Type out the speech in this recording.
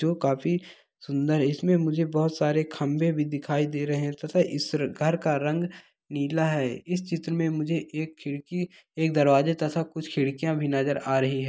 जो काफी सुन्दर है इसमें मुझे बोहत सारे खम्भे भी दिखाई दे रहे है थता ईसर घर का रंग नीला है इस चित्र में मुझे एक खिड़की एक दरवाजे तथा कुछ खिड़किया भी नजर आ रही है।